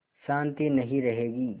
शान्ति नहीं रहेगी